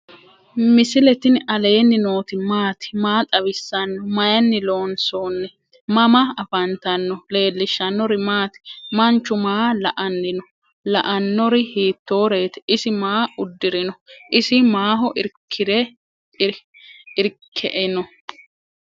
misile tini alenni nooti maati? maa xawissanno? Maayinni loonisoonni? mama affanttanno? leelishanori maati? manchu maa la"ani no?la"anori hitoreti? isi maa udirino? isi maaho irkieino?